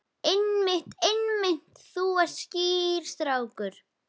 Einmitt, einmitt, þú ert skýr strákur.